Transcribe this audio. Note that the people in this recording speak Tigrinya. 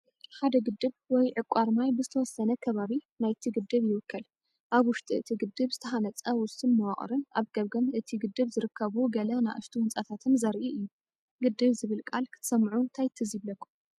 ሓደ ግድብ ወይ ዕቋር ማይ ብዝተወሰነ ከባቢ ናይቲ ግድብ ይውከል። ኣብ ውሽጢ እቲ ግድብ ዝተሃነፀ ውሱን መዋቕርን ኣብ ገምገም እቲ ግድብ ዝርከቡ ገለ ንኣሽቱ ህንፃታትን ዘርኢ እዩ። ግድብ ዝብል ቃል ክትሰምዑ ታይ ትዝ ይብለኩም?